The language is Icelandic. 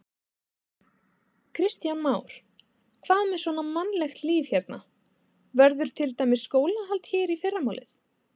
Kristján Már: Hvað með svona mannlegt líf hérna, verður til dæmis skólahald hér í fyrramálið?